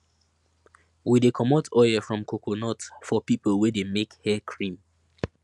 we de comot oil from coconut for people wey de make hair cream